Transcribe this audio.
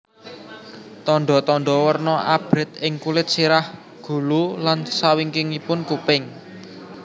Tandha tandha werna abrit ing kulit sirah gulu lan sawingkingipun kuping